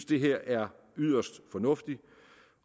det her er yderst fornuftigt